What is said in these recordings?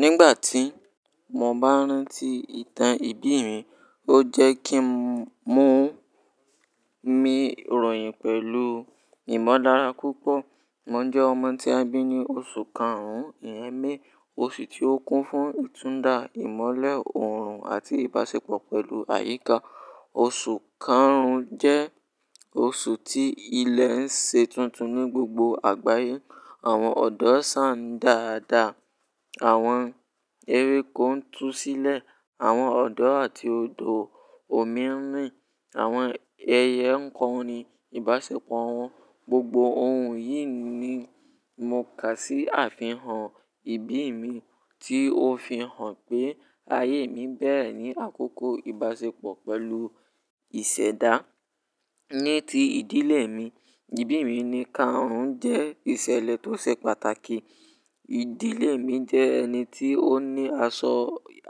Nígbà tí mo bá rántí ìtàn ìbí mi, ó jẹ́ kí n mu mi ròyìn pẹ̀lú ìmọ̀lára púpọ̀. Mo jẹ́ ọmọ tí a bí ní oṣù karùn-ún, ìyẹ́n May, oṣù tí ó kún fún ìtúnda, ìmọ́lẹ̀ ọ̀rùn àti ìbáṣepọ̀ pẹ̀lú àyíká. Oṣù karùn-ún jẹ́ oṣù tí ilẹ̀ ń ṣe tuntun ní gbogbo àgbáyé. Àwọn ọ̀dọ́ sáń dàadaa, àwọn ewékó ń tú sílẹ̀, àwọn ọ̀dọ́ àti odò òmírin, àwọn ẹyẹ ń kọrin, ìbáṣepọ̀ wọn, gbogbo ohun yìí ni mo kà sí àfihàn ìbí mi tí ó fi hàn pé ayé mi bẹ̀rẹ̀ ní àkókò ìbáṣepọ̀ pẹ̀lú ìṣẹ̀dá. Ní ti ìdílé mi, ìbí mi ni karùn jẹ́ ìṣẹ̀lẹ̀ tó ṣe pàtàkì. Ìdílé mi jẹ́ ẹni tí ó ní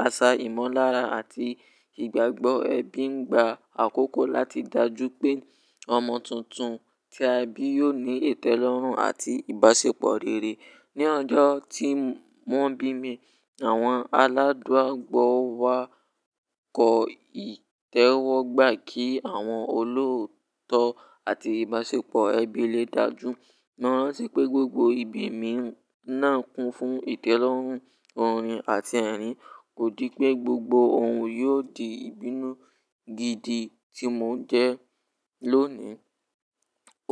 àṣà ìmọ̀lára àti ìgbàgbọ́ ẹbí ń gba àkókò láti dàjú pé ọmọ tuntun tí a bí yóò ní ìtẹ́lọ́rùn àti ìbáṣepọ̀ rere. Ni ọjọ́ tí wọn bí mi, àwọn aládùra gbò wá kọ ìtẹ́wọ́gbà kí àwọn olóòótọ́ àti ìbáṣepọ̀ ẹbí lè dájú. Mo rántí pé gbogbo ìbí mi náà kún fún ìtẹ́lọ́rùn, orin àti ẹ̀rín. Kò dí pé gbogbo ohun yóò di ìbínú gidi tí mò ń jẹ́ lónìí.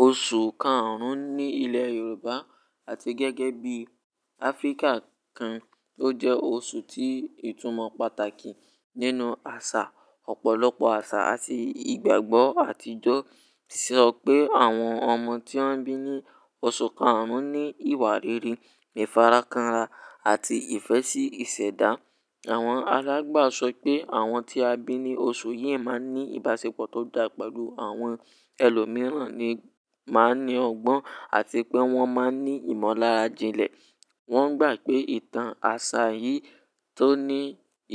Oṣù karùn-ún ní ilẹ̀ Yorùbá àti gẹ́gẹ́ bí Áfíríkà kan, ó jẹ́ oṣù tí ìtumọ̀ pàtàkì nínú àṣà, ọ̀pọ̀lọpọ̀ àṣà àti ìgbàgbọ́ àtijọ́ tí sọ́ pé àwọn ọmọ tí wọ́n bí ní oṣù karùn ní ìwà rere, ìfarakanra àti ìfẹ́ sí ìṣẹ̀dá. Àwọn alágbà sọ pé àwọn tí a bí ní oṣù yìí máa ní ìbáṣepọ̀ tó dà pẹ̀lú àwọn ẹlòmíràn ni máa ní ọgbọ́n àti pé wọ́n máa ní ìmọ̀lára jilẹ̀. Wọ́n gbà pé ìtàn àṣà yìí tó ní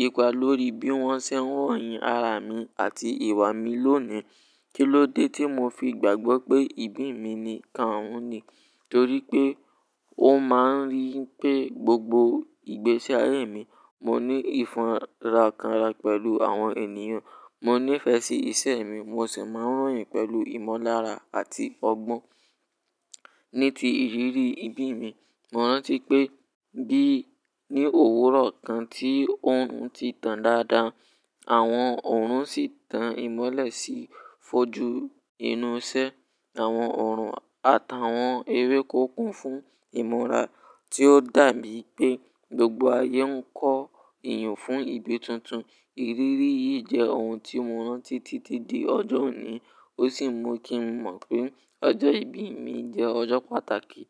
ipa lórí bí wọ́n ṣe ń ròyìn ara mi àti ìwà mi lónìí. Kí ló dé tí mo fi gbàgbọ́ pé ìbí mi ni karùn-ún ni? Torí pé ó máa ń rí pé gbogbo ìgbésí ayé mi, mo ní ìfarakanra pẹ̀lú àwọn ènìyàn, mo níìfẹ̀ sí ìse mi, mo sì máa ń ròyìn pẹ̀lú ìmọ̀lára àti ọgbọ́n. Ní ti ìrírí ìbí mi, mo rántí pé bí ní òwúrọ̀ kan tí òrùn ti tán dáadáa, àwọn òòrùn sì tan ìmọ́lẹ̀ sí fojú inú ìsẹ́, àwọn òòrùn àtàwọn ewé kó kún fún ìmọ̀ra tí ó dàbí pé gbogbo ayé ń kọ ìyùn fún ìbí tuntun. Ìrírí yìí jẹ́ ohun tí mo rántí títí di ọjọ́ òní. Ó sì mú kí mo mọ̀ pé ọjọ́ ìbí mi jẹ́ ọjọ́ pàtàkì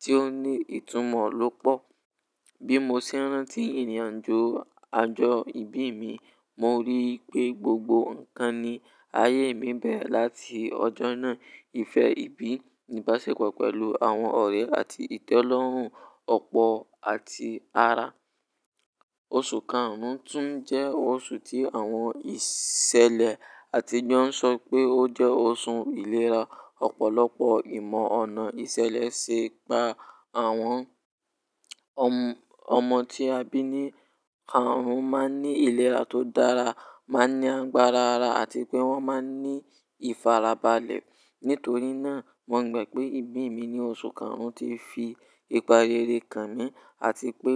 tí ó ní ìtumọ̀ lọ́pọ̀. Bí mo se ń rántí ìrìnàjò àjọ ìbí mi, mo rí pé gbogbo nǹkan ní ayé mi bẹ̀rẹ̀ láti ọjọ́ náà. Ìfẹ́ ìbí, ìbáṣepọ̀ pẹ̀lú àwọn ọ̀rẹ́ àti ìtẹ́lọ́rùn, ọ̀pọ̀ àti ara. Oṣù karùn-ún tún jẹ́ oṣù tí àwọn ìṣẹ̀lẹ̀ àtijọ́ ń sọ pé ó jẹ́ oṣù ìlera. Ọ̀pọ̀lọpọ̀ ìmọ̀ ọ̀nà ìsẹ̀lẹ̀ sé pa àwọn ọmọ tí a bí ní karùn-ún máa ń ní ìlera tó dára, máa ń ní agbára ara àti pé wọ́n máa ń ní ìfarabalẹ̀. Nítorí náà, mo gbà pé ìbí mi ní oṣù karùn-ún ti fi ìpà rere kàn mí àti pé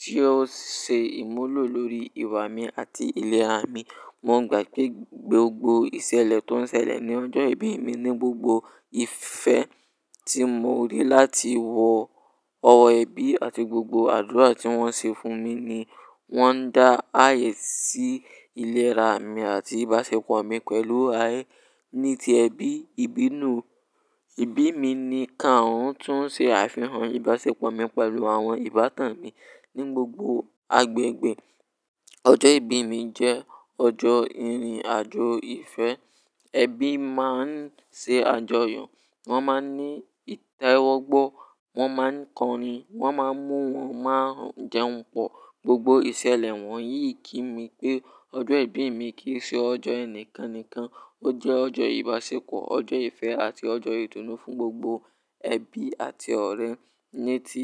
tí ó se ìmúlò lórí ìwà mi àti ìlera mi. Mo gbà pé gbogbo ìsẹ̀lẹ̀ tó ń sẹlẹ̀ ní ọjọ́ ìbí mi ní gbogbo ìfẹ́ tí mo rí láti wọ ọwọ́ ẹbí àti gbogbo àdúrà tí wọ́n se fún mi ni wọ́n n dá ààyè sí ìlera mi àti ìbáṣepọ̀ mi pẹ̀lú ayé. Bí mo ṣe ń rántí ìrìnàjò àjọ ìbí mi, mo rí pé gbogbo nǹkan ní ayé mi bẹ̀rẹ̀ láti ọjọ́ náà. Ọjọ́ ìbí mi jẹ́ ọjọ́ ìrìnàjò ìfẹ́. Ẹbí máa ń se àjọyọ̀, wọ́n máa ń ní ìtẹ́wọ́gbọ, wọ́n máa ń kọrin, wọ́n máa ń mú wọn máa jẹun pọ̀. Gbogbo ìsẹ̀lẹ̀ wọ̀nyí kí mi pé ọjọ́ ìbí mi kì í se ọjọ́ ẹnìkan nìkan, ó jẹ́ ọjọ́ ìbáṣepọ̀, ọjọ́ ìfẹ́ àti ọjọ́ ìdùnnú fún gbogbo ẹbí àti ọ̀rẹ́ ní ti.